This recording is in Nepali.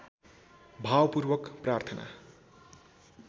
भावपूर्वक प्रार्थना